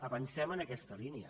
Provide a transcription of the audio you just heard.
avancem en aquesta línia